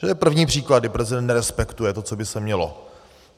To je první příklad, kdy prezident nerespektuje to, co by se mělo.